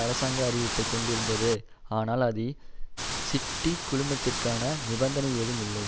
அரசாங்க அறிவிப்பை கொண்டிருந்தது ஆனால் அதில் சிட்டி குழுமத்திற்கான நிபந்தனை ஏதும் இல்லை